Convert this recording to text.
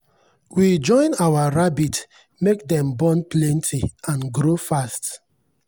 we join our rabbit make dem born plenty and grow fast.